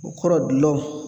O kɔrɔ gulɔ